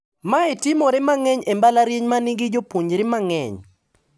Mae timore mang`eny e mbalariany manigi jopuonjore mang`eny.